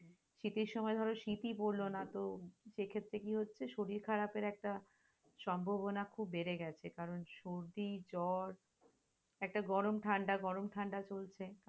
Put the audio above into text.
শীতের সময় ধরো শীতই পরল না তো সেক্ষেত্রে কি হচ্ছে শরীর খারাপের একটা সম্ভাবনা খুব বেড়ে গেছে, কারন সর্দিজর একটা গরম ঠাণ্ডা গরম ঠাণ্ডা চলছে।